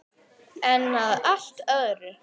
En að allt öðru!